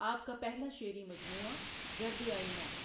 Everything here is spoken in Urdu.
آپ کا پهلا شعری مجموعه گرد آئینه ہے۔